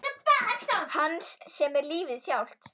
Hans sem er lífið sjálft.